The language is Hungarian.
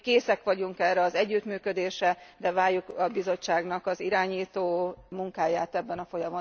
Mi készek vagyunk erre az együttműködésre, de várjuk a Bizottságnak az irányító munkáját ebben a folyamatban.